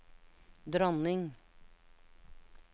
dronning